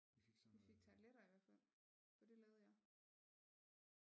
Vi fik tarteletter i hvert fald for det lavede jeg